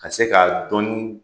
A se ka dɔnni